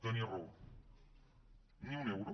tenia raó ni un euro